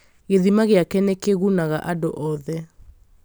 gĩthima gĩake nĩ kĩgunaga andũ othe